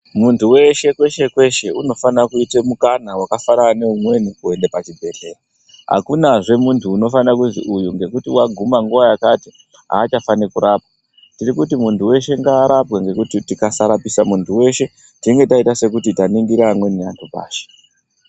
Muntu weshe kweshe kweshe unofana kuite mukana waka fanana ne umweni kuende pa chibhedhleya akunazve muntu unofana kuzii uyu ngekuti waguma nguva yakati acha fani kurapwa tiri kuti muntu weshe ngaa rapwe ngekuti tikasa rapisa muntu weshe tinenge taita sekuti ta ningira amweni antu pashi.